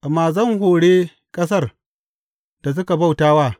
Amma zan hore ƙasar da suka bauta wa.’